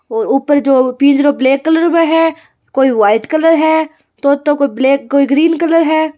और ऊपर जो पिंजरों ब्लैक कलर मैं है कोई व्हाइट कलर है तोतो को कोई ब्लैक ग्रीन कलर है।